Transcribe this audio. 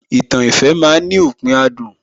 Ìtàn ìfẹ́ ma ń ní òpin adùn